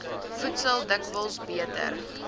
voedsel dikwels beter